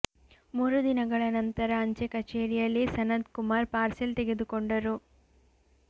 ಮೂರು ದಿನಗಳ ನಂತರ ಅಂಚೆ ಕಚೇರಿಯಲ್ಲಿ ಸನತ್ ಕುಮಾರ್ ಪಾರ್ಸೆಲ್ ತೆಗೆದುಕೊಂಡರು